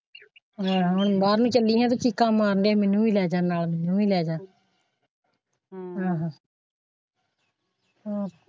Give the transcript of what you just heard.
ਬਾਹਰ ਵੀ ਚੱਲੀ ਹਾਂ ਤਾਂ ਚੀਕਾਂ ਮਰ ਦੀਆਂ ਨਾਲ ਮੈਨੂੰ ਵੀ ਲੈ ਜਾਂ।